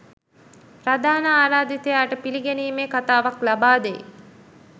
ප්‍රධාන ආරාධිතයාට පිළිගැනීමේ කතාවක් ලබාදේ